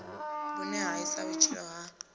vhune ha isa vhutshilo ha